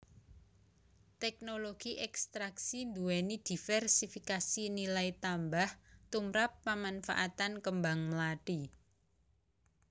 Teknologi ekstraksi nduwèni divérsifikasi nilai tambah tumprap pamanfaatan kembang mlathi